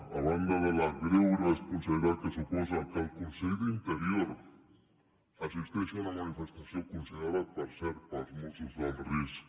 a banda de la greu irresponsabilitat que suposa que el conseller d’interior assisteixi a una manifestació considerada per cert pels mossos d’alt risc